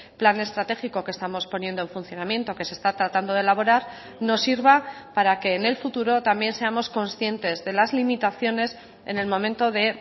plan estratégico que estamos poniendo en funcionamiento que se está tratando de elaborar nos sirva para que en el futuro también seamos conscientes de las limitaciones en el momento de